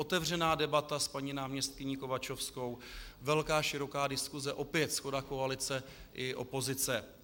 Otevřená debata s paní náměstkyní Kovačovskou, velká, široká diskuse, opět shoda koalice i opozice.